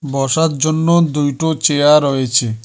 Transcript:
বসার জন্য দুইটো চেয়ার রয়েছে।